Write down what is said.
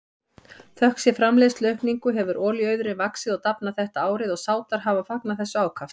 Þökk sé framleiðsluaukningu hefur olíuauðurinn vaxið og dafnað þetta árið og Sádar hafa fagnað þessu ákaft.